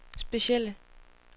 specielle